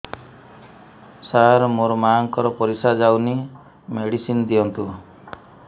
ସାର ମୋର ମାଆଙ୍କର ପରିସ୍ରା ଯାଉନି ମେଡିସିନ ଦିଅନ୍ତୁ